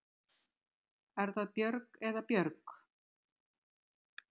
Er það Björg eða Björg?